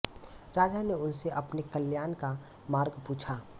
राजा ने उनसे अपने कल्याण का मार्ग पूछा